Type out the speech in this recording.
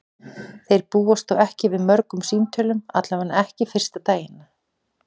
Þeir búast þó ekki við mörgum símtölum, allavega ekki fyrsta daginn.